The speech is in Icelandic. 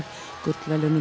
gullverðlaunum